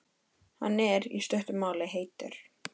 Hann er, í stuttu máli, heitur.